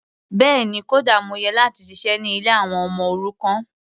Bẹ́ẹ̀ni, kódà mo yẹ láti ṣiṣẹ́ ní ilé àwọn ọmọ òrukàn.